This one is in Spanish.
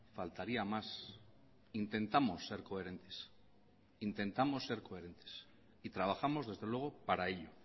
faltaría más intentamos ser coherentes intentamos ser coherentes y trabajamos desde luego para ello